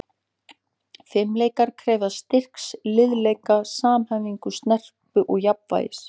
Fimleikar krefjast styrks, liðleika, samhæfingar, snerpu og jafnvægis.